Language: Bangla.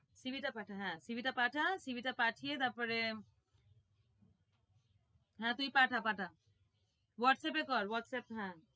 CV টা পাঠা হ্যাঁ CV টা পাঠা CV টা পাঠিয়ে তারপরে হ্যাঁ, তুই পাঠা, পাঠা হোয়াটসঅ্যাপে কর, হোয়াটসঅ্যাপ হ্যাঁ।